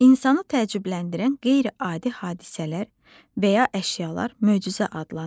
İnsanı təəccübləndirən qeyri-adi hadisələr və ya əşyalar möcüzə adlanır.